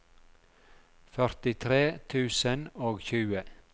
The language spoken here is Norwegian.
førtitre tusen og tjue